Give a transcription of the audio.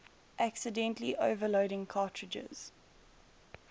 accidentally overloading cartridges